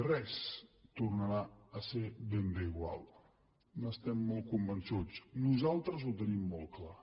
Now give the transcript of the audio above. res tornarà a ser ben bé igual n’estem molt convençuts nosaltres ho tenim molt clar